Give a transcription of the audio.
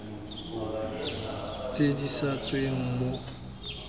tse di sa tsweng mo